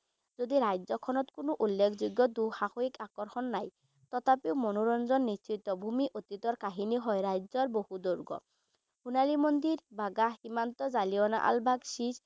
যদি ৰাজ্যখনত কোনো উল্লেখযোগ্য দুই সাহষিক আকৰ্ষণ নাই তথাপিও মনোৰঞ্জন নিশ্চিত ভূমি অতীতৰ কাহিনী হয় ৰাজ্যৰ বহু দুৰ্গ সোনাৰী মন্দিৰ বা জালিয়নাআলবাগশিখ